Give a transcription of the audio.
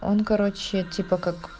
он короче типа как